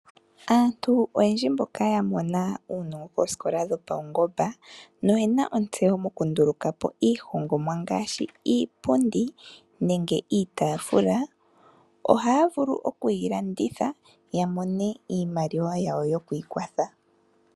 Aantu oyendji mboka yamona uunongo koosikola dhopaungomba noyena ontseyo mokunduluka po iihongomwa, ngaashi iipundi nenge iitafula ohaya vulu okuyi landitha yamone iimaliwa yawo yokwiikwatha.